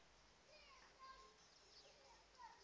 zwa ita uri muthu a